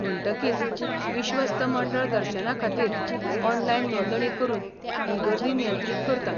म्हणटकीच, विश्वस्त मंडळ दर्शनाखातीर ऑनलायन नोंदणी करून ही गर्दी नियंत्रीत करता.